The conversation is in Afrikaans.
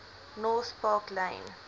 north park lane